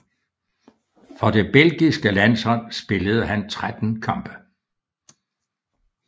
For det belgiske landshold spillede han 13 kampe